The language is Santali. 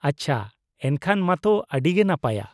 -ᱟᱪᱪᱷᱟ, ᱮᱱᱠᱷᱟᱱ ᱢᱟᱛᱚ ᱟᱹᱰᱤ ᱜᱮ ᱱᱟᱯᱟᱭᱟ ᱾